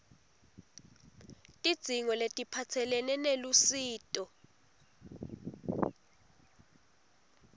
tidzingo letiphatselene nelusito